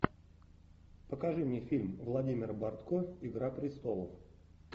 покажи мне фильм владимира бортко игра престолов